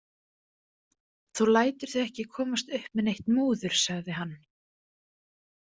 Þú lætur þau ekki komast upp með neitt múður, sagði hann.